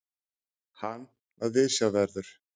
Hann er viðsjárverður.